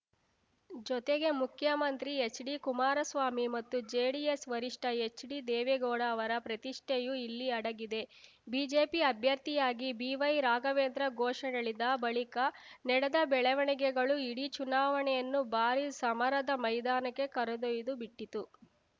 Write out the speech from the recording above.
ಜೊತೆಗೆ ಮುಖ್ಯಮಂತ್ರಿ H D Kumaraswamy ಮತ್ತು ಜೆಡಿಎಸ್‌ ವರಿಷ್ಠ ಎಚ್‌ ಡಿ ದೇವೇಗೌಡ ಅವರ ಪ್ರತಿಷ್ಠೆಯೂ ಇಲ್ಲಿ ಅಡಗಿದೆ ಬಿಜೆಪಿ ಅಭ್ಯರ್ಥಿಯಾಗಿ ಬಿ ವೈ ರಾಘವೇಂದ್ರ ಘೋಷಣೆಳಿದ ಬಳಿಕ ನಡೆದ ಬೆಳವಣಿಗೆಗಳು ಇಡೀ ಚುನಾವಣೆಯನ್ನು ಭಾರೀ ಸಮರದ ಮೈದಾನಕ್ಕೆ ಕರೆದೊಯ್ದು ಬಿಟ್ಟಿತು